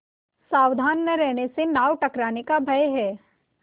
सावधान न रहने से नाव टकराने का भय है